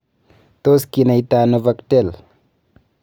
Tos kinaita ano VACTERL?